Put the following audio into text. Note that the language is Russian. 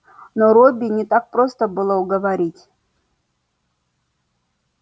но робби не так просто было уговорить